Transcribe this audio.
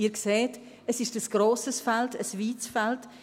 Sie sehen: Es ist ein grosses Feld, ein weites Feld.